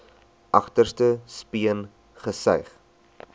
agterste speen gesuig